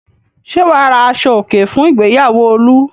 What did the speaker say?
Ṣé wà á ra aṣọòkè fún ìgbéyàwó Olú?